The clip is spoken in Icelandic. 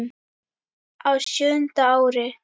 Á sjöunda ári